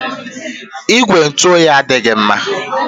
Igwe ntụ oyi adịghị mma.